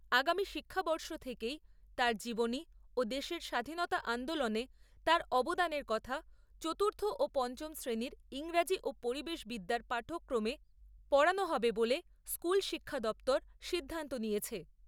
আগামী শিক্ষাবর্ষ থেকেই তার জীবনী ও দেশের স্বাধীনতা আন্দোলনে তাঁর অবদানের কথা চতুর্থ ও পঞ্চম শ্রেণীর ইংরেজি ও পরিবেশ বিদ্যার পাঠ্যক্রমে পড়ানো হবে বলে স্কুল শিক্ষা দপ্তর সিদ্ধান্ত নিয়েছে।